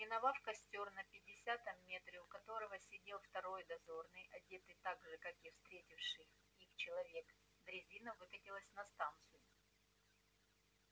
миновав костёр на пятидесятом метре у которого сидел второй дозорный одетый так же как и встретивший их человек дрезина выкатилась на станцию